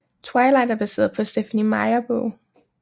Twilight er baseret på Stephenie Meyer bog